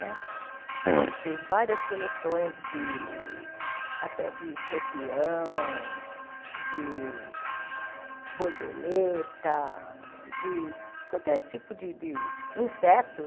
Né gente fez várias coleções até de até de escorpião, de borboleta, de qualquer tipo de de inseto.